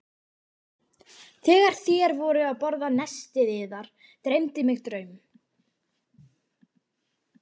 Þegar þér voruð að borða nestið yðar dreymdi mig draum.